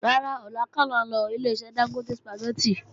Rárá, ọ̀la kọ́ làá ń lọ Ileṣẹ́ Dángótè Sùpàgẹ́tì